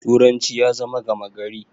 turanci ya zama gamagari